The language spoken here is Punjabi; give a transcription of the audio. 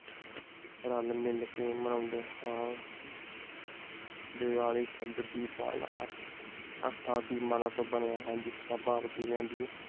ਰਲ ਮਿਲ ਕੇ ਮਨੌਂਦੇ ਹਾਂ। ਦੀਵਾਲੀ ਸ਼ਬਦ ਦੀ ਬਾਲ ਅਰਥ ਅਰਥਾਂ ਦੀ ਮਾਲਾ ਤੋਂ ਵਨੀਆਂ ਹੈ